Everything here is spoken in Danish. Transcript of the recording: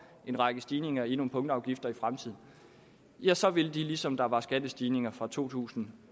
en række stigninger i nogle punktafgifter i fremtiden ja så vil de ligesom der var skattestigninger fra to tusind